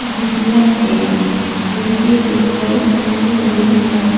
जिसमें एक खिड़की दिखाई दे रही है।